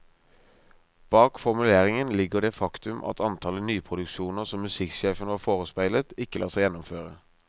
Bak formuleringen ligger det faktum at antallet nyproduksjoner som musikksjefen var forespeilet, ikke lar seg gjennomføre.